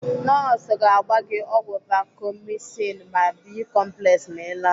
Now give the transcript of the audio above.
Nọọsụ ga-agba gị ọgwụ Vacomycin na Bi-complex ma Ị laa.